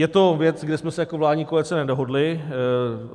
Je to věc, kde jsme se jako vládní koalice nedohodli.